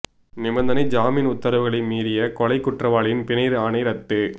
நிபந்தனை ஜாமீன் உத்தரவுகளை மீறிய கொலை குற்றவாளியின் பிணை ஆணை ரத்து